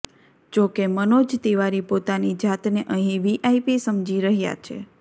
જો કે મનોજ તિવારી પોતાની જાતને અહીં વીઆઇપી સમજી રહ્યા છે